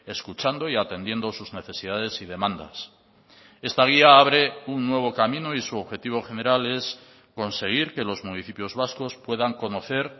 escuchando y atendiendo sus necesidades y demandas esta guía abre un nuevo camino y su objetivo general es conseguir que los municipios vascos puedan conocer